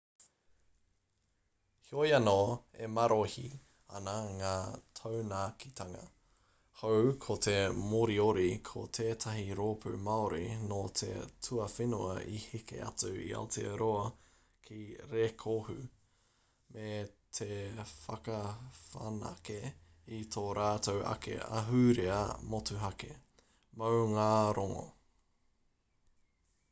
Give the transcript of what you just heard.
heoi anō e marohi ana ngā taunakitanga hou ko te moriori ko tētahi rōpū māori nō te tuawhenua i heke atu i aotearoa ki rēkohu me te whakawhanake i tō rātou ake ahurea motuhake maungārongo